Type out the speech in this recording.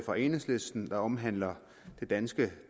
fra enhedslisten der omhandler det danske